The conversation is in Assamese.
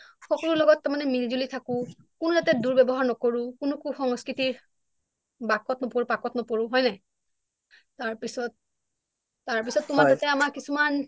সকলোৰ লগত তাৰ মানে মিলি জুলি থাকোঁ কোনো যাতে দুৰ ব্যৱহাৰ নকৰোঁ কোনো কুসংস্কৃতিৰ বাখত নপৰো পাকত নপঢ়োঁ হয় নাই তাৰ পিছত, তাৰ পিছত তোমাৰ হৈছে আমাৰ কিছুমান অনুশাসন শিকালে তাৰ পিছত তোমাৰ কিছুমান দায়িত্ব শিকালে যে আমি যেতিয়া তোমাৰ এটা কি হয় জানা আমি যেতিয়া ঘৰত থাকো যেনেকৈ আমি ঘৰটোক চোৱা চিতা কৰোঁ আমাৰ এটা দায়িত্ব